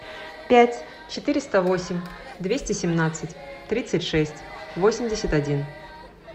пять четыреста восемь двести семнадцать тридцать шесть восемьдесят один